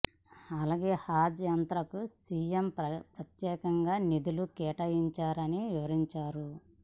అలాగే హజ్ యాత్రకు సీఎం ప్రత్యేకంగా నిధులు కేటా యించారని వివరించారు